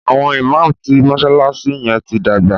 àwọn imam tí mọsalasi yén tí dàgbà.